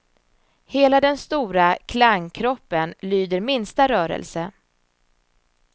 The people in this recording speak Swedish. Hela den stora klangkroppen lyder minsta rörelse.